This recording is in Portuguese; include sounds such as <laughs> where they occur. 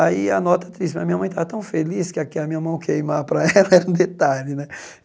Aí a nota triste, mas minha mãe estava tão feliz que a que a minha mão queimar para <laughs> ela era um detalhe né.